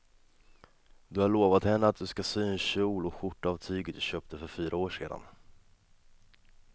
Du har lovat henne att du ska sy en kjol och skjorta av tyget du köpte för fyra år sedan.